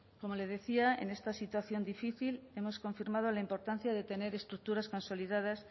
como le decía en esta situación difícil hemos confirmado la importancia de tener estructuras consolidadas